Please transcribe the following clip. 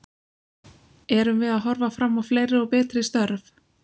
Erum við að horfa fram á fleiri og betri störf?